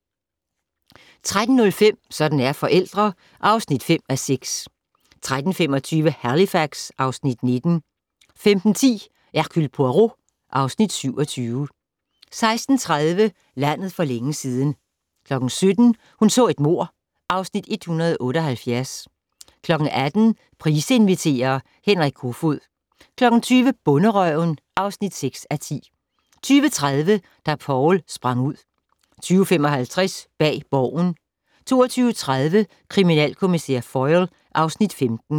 13:05: Sådan er forældre (5:6) 13:25: Halifax (Afs. 19) 15:10: Hercule Poirot (Afs. 27) 16:30: Landet for længe siden 17:00: Hun så et mord (Afs. 178) 18:00: Price inviterer - Henrik Koefoed 20:00: Bonderøven (6:10) 20:30: Da Poul sprang ud 21:55: Bag Borgen 22:30: Kriminalkommissær Foyle (Afs. 15)